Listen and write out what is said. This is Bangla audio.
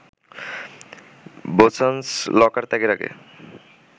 বোসানস লকার ত্যাগের আগে